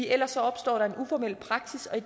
ellers opstår der en uformel praksis og